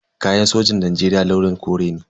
Kayan sojin Najeriya launin kore ne.